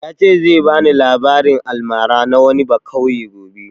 Ya ce zai bani labarin almara na wani bakauye gobe